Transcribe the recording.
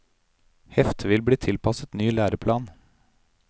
Heftet vil bli tilpasset ny læreplan.